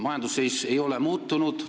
Majandusseis ei ole muutunud.